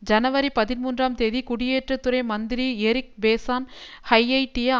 ஜனவரி பதிமூன்றாம் தேதி குடியேற்றத்துறை மந்திரி எரிக் பெசோன் ஹைய்யைட்டிய